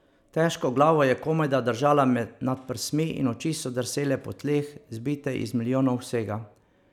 Težko glavo je komajda držala nad prsmi in oči so drsele po tleh, zbite iz milijonov vsega.